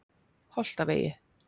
Holtavegi